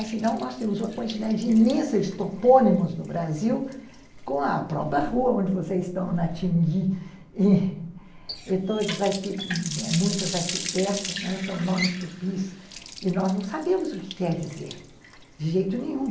Afinal, nós temos uma quantidade imensa de topônimos no Brasil, com a própria rua onde vocês estão, na Tingui, e todas aqui, muitas aqui perto, são nomes tupis, e nós não sabemos o que quer dizer, de jeito nenhum.